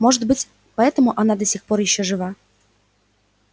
может быть поэтому она до сих пор все ещё жива